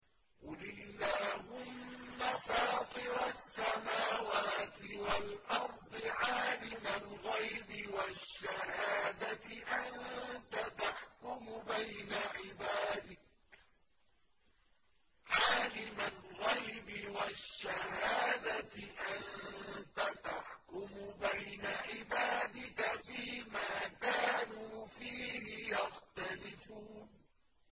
قُلِ اللَّهُمَّ فَاطِرَ السَّمَاوَاتِ وَالْأَرْضِ عَالِمَ الْغَيْبِ وَالشَّهَادَةِ أَنتَ تَحْكُمُ بَيْنَ عِبَادِكَ فِي مَا كَانُوا فِيهِ يَخْتَلِفُونَ